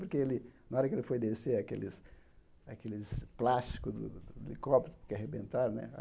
Porque ele na hora que ele foi descer, aqueles aqueles plásticos do do helicóptero que arrebentaram, né?